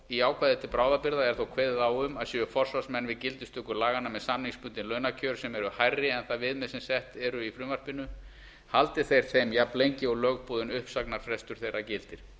í ákvæði til bráðabirgða er þó kveðið á um að séu forsvarsmenn við gildistöku laganna með samningsbundin launakjör sem eru hærri en það viðmið sem sett eru í frumvarpinu haldi þeir þeim jafnlengi og lögboðinn uppsagnarfrestur þeirra gildir